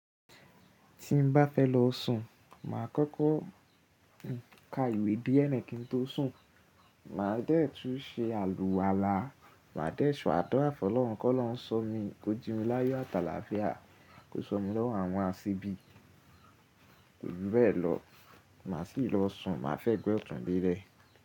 Tí n bá fẹ́ lọ sùn, màá kọ́kọ́ ka ìwé díè náà kí n tó sùn. Màá dẹ́ẹ̀tú ṣe àlùwàlá, màá dẹ́ẹ̀tú ṣá àdúrà fún Ọlọ́run kọ́ lọ́run sọ mí, kó jí mi láyọ àtàlàáfíà, kó sọ mí lọ́wọ́ àwọn àsebi kò jù bẹ́ẹ̀ lọ, màá sì lọ sùn, màá fẹ́ gbẹ́ ọ̀tún bírẹ̀